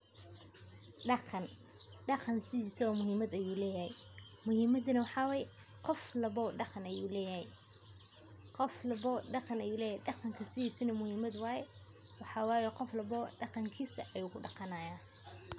Daqan, daqan sidhisaba muhimad ayu leyahay, muhimada na maxa waye qoof walbo daqan ayu leyahay, daqanka sidhisaba muhimad waye, qoof walbo daqankisa ayu kudaqanaya.